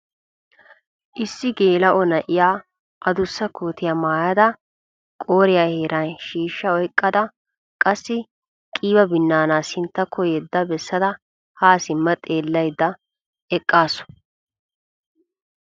Issi gela"o na'iyaa addussa kootiyaa maayyada qooriya heeran shiishsha oyqqada qassi qiiba binaana sinttakko yeda bessada ha simma xeelaydda eqqaasu.